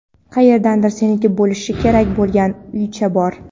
Qayerdadir seniki bo‘lishi kerak bo‘lgan uycha bor.